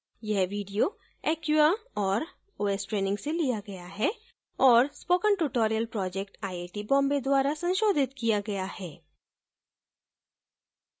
यह video acquia और os training से लिया गया है और spoken tutorial project IIT Bombay द्वारा संशोधित किया गया है